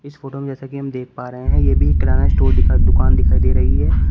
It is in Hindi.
इस फोटो में जैसा कि हम देख पा रहे हैं ये भी एक किरना स्टोर दि दुकान दिखाई दे रही है।